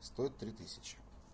стоит три тысячи